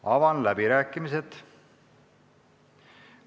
Avan läbirääkimised.